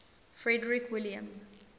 frederick william